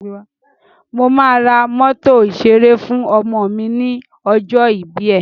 Mo máa ra mọ́tò ìṣeré fú ọmọ mi ní ọjọ́ ìbí ẹ̀.